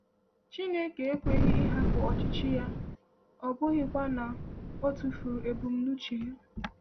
“Chineke ekweghị ịhapụ ọchịchị ya, ọ bụghịkwa na ọ tụfuru ebumnuche ya.”